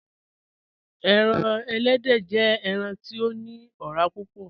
Ẹran èlẹ́dẹ jẹ̀ ẹran ti o ni ọ̀rà púpọ̀.